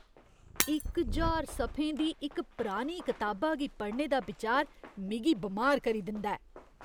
इक ज्हार सफें दी इक पुरानी कताबा गी पढ़ने दा बिचार मिगी बमार करी दिंदा ऐ।